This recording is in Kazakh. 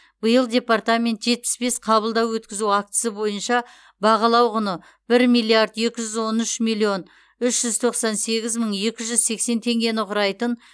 биыл департамент жетпіс бес қабылдау өткізу актісі бойынша бағалау құны бір миллиард екі жүз он үш миллион үш жүз тоқсан сегіз мың екі жүз сексен теңгені құрайтын